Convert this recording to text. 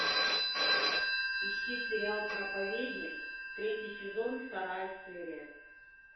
ищи сериал проповедник третий сезон вторая серия